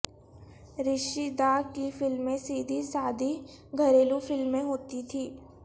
رشی دا کی فلمیں سیدھی سادی گھریلو فلمیں ہوتی تھیں